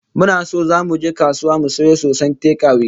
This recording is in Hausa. Muna so zamu je kasuwa mu sayo soson tekawe